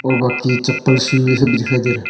बाकी चप्पल शू ये सब भी दिखाई दे रहा है।